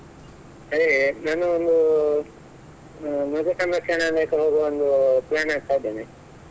Hai ನಾನು ಒಂದು ಮೃಗ ಸಂರಕ್ಷಣಾಲಯಕ್ಕೆ ಹೋಗುವ ಒಂದು plan ಹಾಕ್ತಾ ಇದ್ದೇನೆ.